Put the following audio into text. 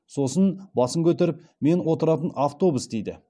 сосын басын көтеріп мен отыратын автобус дейді